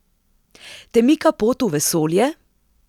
Te mika pot v vesolje?